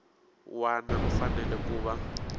wana u fanele ku va